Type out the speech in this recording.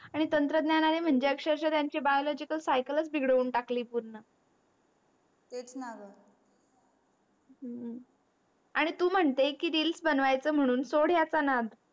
आणि तंत्रज्ञाने म्हणजे अक्षरक्षा त्यांची biological cycle च बिगडवून टाकली पूर्ण तेच णा ग हम्म आणि तू म्हणते की reels बनव्याच म्हणून सोड याचा नाद